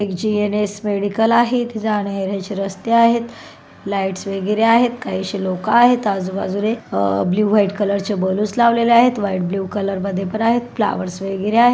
GNS medical आहेत जाने येणे चे रस्ते आहेत लाइट वैगरे आहेत कहिशी लोक आहेत आजू बाजूने अ ब्लू व्हाइट कलर चे बलून लवलेले आहेत व्हाइट ब्लू कलर मधेपन आहेत फ्लावेर्र्स वगैरे आहे.